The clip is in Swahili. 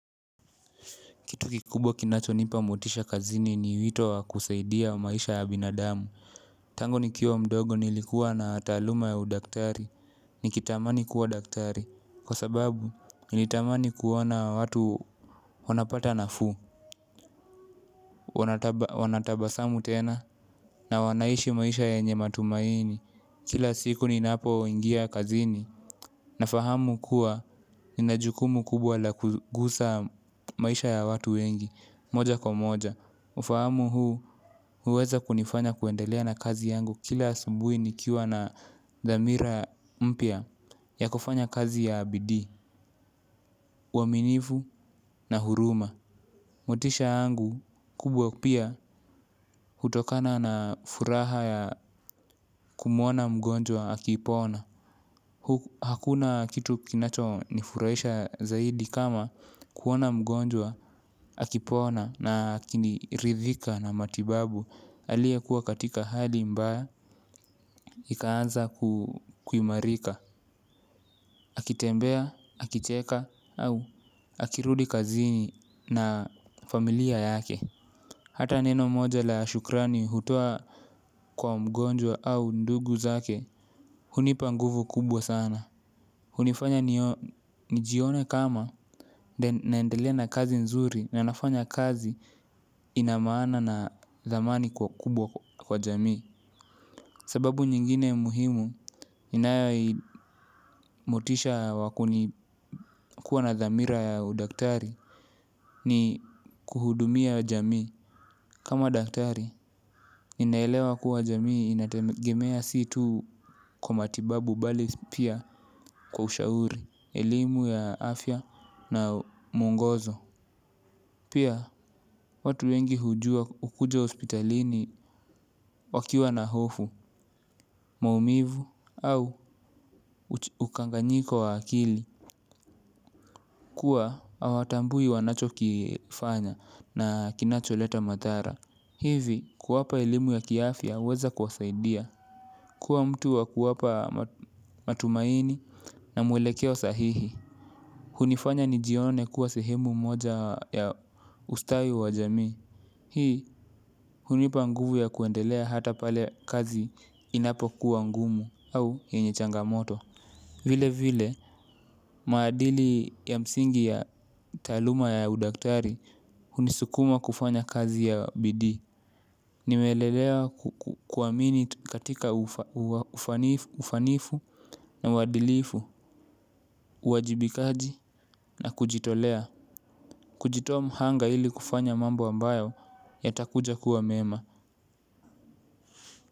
Kitu kikubwa kinacho nipa motisha kazini ni wito wa kusaidia wa maisha ya binadamu. Tangu nikiwa mdogo nilikuwa na taluma ya udaktari. Nikitamani kuwa daktari kwa sababu nilitamani kuwona watu wanapata nafu. Wanatabasamu tena na wanaishi maisha yenye matumaini. Kila siku ninapo ingia kazini. Na fahamu kuwa ninajukumu kubwa la kugusa maisha ya watu wengi. Moja kwa moja mi ufahamu huu, huweza kunifanya kuendelea na kazi yangu kila asubui nikiwa na dhamira mpia ya kufanya kazi ya bidi, uaminivu na huruma. Motisha yangu, kubwa pia, hutokana na furaha ya kumuona mgonjwa akipona. Hakuna kitu kinacho nifurahisha zaidi kama kuona mgonjwa akipona na kiniridhika na matibabu. Alie kuwa katika hali mbaya, ikaanza kuhimarika. Akitembea, akicheka, au akirudi kazini na familia yake. Hata neno moja la shukrani hutoa kwa mgonjwa au ndugu zake. Hunipa nguvu kubwa sana. Hunifanya nijione kama naendele na kazi nzuri. Na nafanya kazi ina mana na thamani kwa kubwa kwa jami. Sababu nyingine muhimu inayai motisha wakuni kuwa na dhamira ya udaktari ni kuhudumia jamii. Kama daktari, ninaelewa kuwa jamii inategemea situ kwa matibabu bali pia kwa ushauri, elimu ya afya na mungozo. Pia, watu wengi hujua ukuja ospitalini wakiwa na hofu, maumivu au ukanganyiko wa akili. Kua awatambui wanacho kifanya na kinacho leta matara. Hivi kuwapa elimu ya kiafya weza kwasaidia. Kua mtu wa kuwapa matumaini na mwelekeo sahihi. Hunifanya nijione kuwa sehemu moja ya ustawi wa jamii. Hii hunipa nguvu ya kuendelea hata pale kazi inapo kuwa ngumu au yenye changamoto. Vile vile maadili ya msingi ya taluma ya udaktari unisukuma kufanya kazi ya bidii. Nimelelea kuwamini katika ufanifu na wadilifu, uwajibikaji na kujitolea. Kujitoa mhanga ili kufanya mambo ambayo yatakuja kuwa mema.